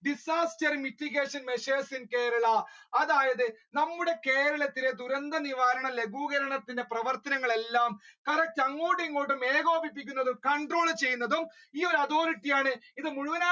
disaster mitigation measures in Kerala അതായത് നമ്മുടെ കേരളത്തിലെ ദുരന്ത നിവാരണ ലഘൂകരണത്തിന്റെ പ്രവർത്തനങ്ങൾ എല്ലാം correct അങ്ങോട്ടും ഇങ്ങോട്ടും ഏകോപിക്കുന്നത് control ചെയ്യുന്നത് ഈ ഒരു അതോറിറ്റി ആണ്. ഇത്